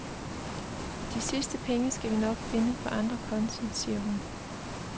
De sidste penge skal vi nok finde på andre konti, siger hun.